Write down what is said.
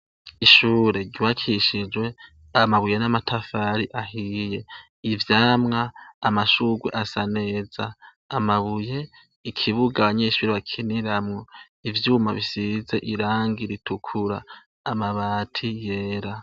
Ishure ryubakishijwe amabuye namatafari ahiye ivyamwa amashurwe asaneza amabuye ikibuga abanyeshure bakiniramwo ivyuma bisize irangi ritukura amabati yera